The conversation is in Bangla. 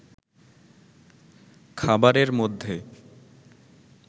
খাবারের মধ্যে